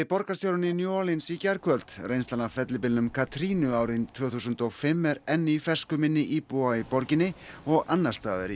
borgarstjórinn í New Orleans í gærkvöld reynslan af fellibylnum árið tvö þúsund og fimm er enn í fersku minni íbúa í borginni og annars staðar í